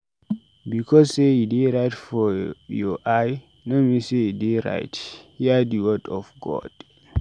Because sey e dey right for your eye no mean sey e dey right. Hear di word of God.